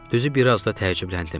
Düzü biraz da təəccübləndim.